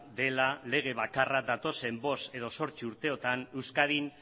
dela lege bakarra datozen bost edo zortzi urteotan euskadin